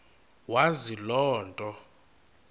wazi loo nto